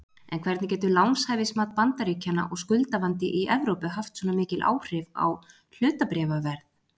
En hvernig getur lánshæfismat Bandaríkjanna og skuldavandi í Evrópu haft svona mikil áhrif á hlutabréfaverð?